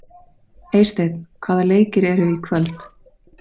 Eysteinn, hvaða leikir eru í kvöld?